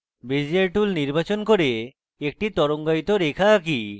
bezier tool নির্বাচন করি এবং একটি তরঙ্গায়িত রেখা আঁকি